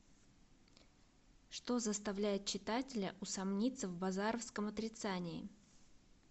что заставляет читателя усомниться в базаровском отрицании